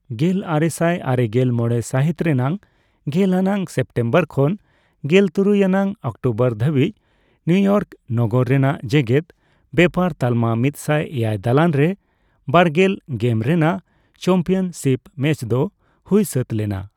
ᱜᱮᱞᱟᱨᱮᱥᱟᱭ ᱟᱨᱮᱜᱮᱞ ᱢᱚᱲᱮ ᱥᱟᱹᱦᱤᱛ ᱨᱮᱱᱟᱜ ᱜᱮᱞ ᱟᱱᱟᱜ ᱥᱮᱯᱴᱮᱢᱵᱚᱨ ᱠᱷᱚᱱ ᱜᱮᱞ ᱛᱩᱨᱩᱭ ᱟᱱᱟᱜ ᱚᱠᱴᱳᱵᱚᱨ ᱫᱷᱟᱹᱵᱤᱡ ᱱᱤᱭᱩᱤᱭᱚᱨᱠ ᱱᱟᱜᱟᱨ ᱨᱮᱱᱟᱜ ᱡᱮᱜᱮᱫ ᱵᱮᱯᱟᱨ ᱛᱟᱞᱢᱟ ᱢᱤᱫᱥᱟᱭ ᱮᱭᱟᱭ ᱫᱟᱞᱟᱱ ᱨᱮ ᱵᱟᱨᱜᱮᱞ ᱜᱮᱢ ᱨᱮᱱᱟᱜ ᱪᱮᱢᱯᱤᱭᱟᱱᱥᱤᱯ ᱢᱮᱪ ᱫᱚ ᱦᱩᱭ ᱥᱟᱹᱛ ᱞᱮᱱᱟ ᱾